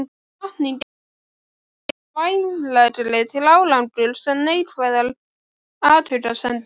Hvatning er miklu vænlegri til árangurs en neikvæðar athugasemdir.